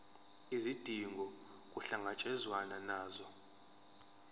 izidingo kuhlangatshezwane nazo